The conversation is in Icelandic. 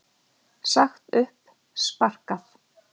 Sagt upp, sparkað.